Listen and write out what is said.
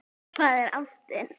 Hvað er ástin?